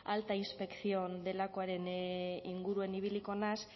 alta inspección delakoaren inguruan ibiliko naiz